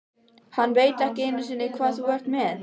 Hann veit ekki einu sinni hvað þú ert með.